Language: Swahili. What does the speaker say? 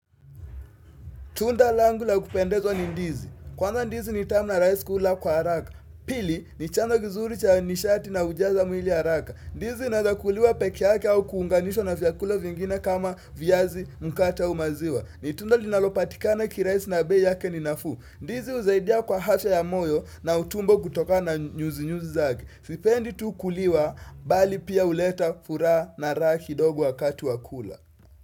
Tunda langu la kupendeza ni ndizi. Kwanza ndizi ni tamu na rahisi kula kwa haraka. Pili ni chanzo kizuri cha nishati na hujaza mwili haraka. Ndizi inaweza kuliwa pekee yake au kuunganishwa na vyakula vingine kama viazi mkate aumaziwa. Ni tunda linalopatikana ki rahisi na bei yake ninafuu. Ndizi husaidia kwa afya ya moyo na utumbo kutoka na nyuzi nyuzi zake. Tuipendi tu kuliwa bali pia huleta furaha na raha kidogo wakati wakula.